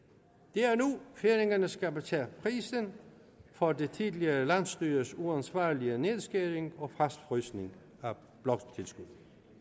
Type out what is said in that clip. det er nu færingerne skal betale prisen for det tidligere landsstyres uansvarlige nedskæring og fastfrysning af bloktilskuddet